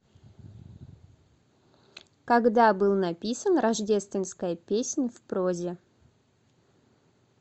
когда был написан рождественская песнь в прозе